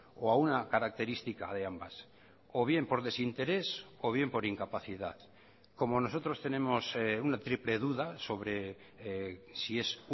o a una característica de ambas o bien por desinterés o bien por incapacidad como nosotros tenemos una triple duda sobre si es